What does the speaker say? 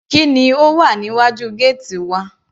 Kí ni ó wà níwájú gẹ́ẹ́tì wa.